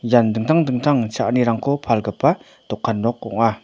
ian dingtang dingtang cha·anirangko palgipa dokan nok ong·a.